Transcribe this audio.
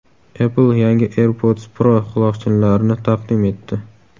Apple yangi AirPods Pro quloqchinlarini taqdim etdi.